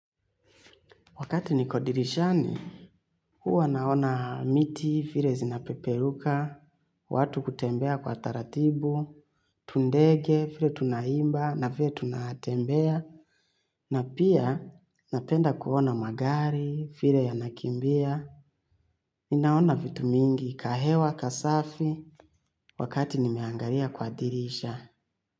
Wakati niko dirishani, huwa naona miti, vile zinapeperuka, watu kutembea kwa taratibu, tu ndege, vile tunaimba, na vile tunatembea, na pia napenda kuona magari, vile yanakimbia. Ninaona vitu mingi, ka hewa, kasafi, wakati nimeangalia kwa dirisha.